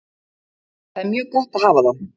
Það er mjög gott að hafa þá.